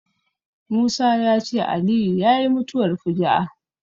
Musa ya ce Aliyu yayi mutuwar fuju'a